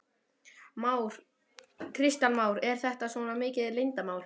Kristján Már: Er þetta svona mikið leyndarmál?